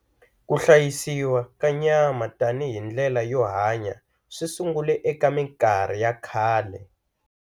Ku hlayisiwa ka nyama tani hi ndlela yo hanya swisungule eka minkarhi ya khale.